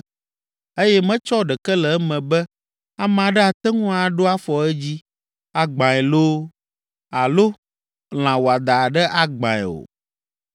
eye metsɔ ɖeke le eme be, ame aɖe ate ŋu aɖo afɔ edzi, agbãe loo, alo lã wɔadã aɖe agbãe o.